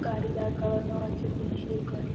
গাড়ি দাঁড় করানো আছে পুলিশ এর গাড়ি।